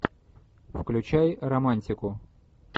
включай романтику